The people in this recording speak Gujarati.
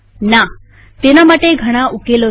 નાતેના માટે ઘણા ઉકેલો છે